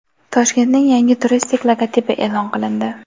Toshkentning yangi turistik logotipi e’lon qilindi.